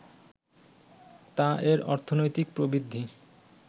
তা এর অর্থনৈতিক প্রবৃদ্ধি